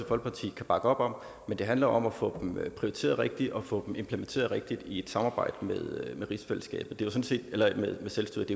folkeparti kan bakke op om men det handler om at få dem prioriteret rigtigt og få dem implementeret rigtigt i et samarbejde med selvstyret